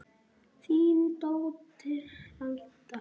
Þín dóttir, Alda.